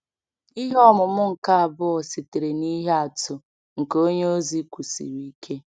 Ihe ọmụmụ nke abụọ sitere n’ihe atụ nke onye ozi kwụsiri ike.